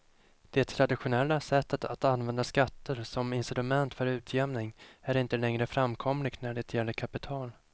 Det traditionella sättet att använda skatter som instrument för utjämning är inte längre framkomligt när det gäller kapital.